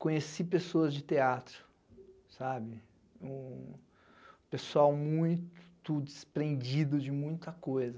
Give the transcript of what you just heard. Conheci pessoas de teatro, sabe, um um pessoal muito desprendido de muita coisa.